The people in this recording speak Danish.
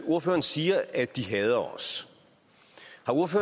ordføreren siger at de hader os